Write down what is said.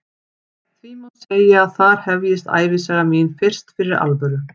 Því má segja að þar hefjist ævisaga mín fyrst fyrir alvöru.